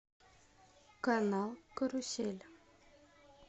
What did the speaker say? канал карусель